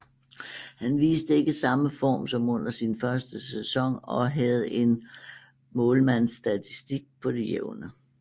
Han viste ikke samme form som under sin første sæson og havde en målmandsstatistik på det jævne